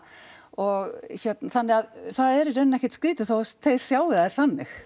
og hérna þannig að það er í rauninni ekkert skrítið þó að þeir sjái þær þannig